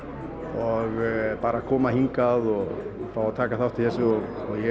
og bara að koma hingað og fá að taka þátt í þessu og